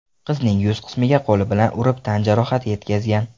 qizning yuz qismiga qo‘li bilan urib tan jarohati yetkazgan.